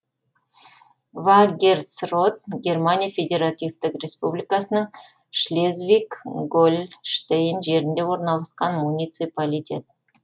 вагерсрот германия федеративтік республикасының шлезвиг гольштейн жерінде орналасқан муниципалитет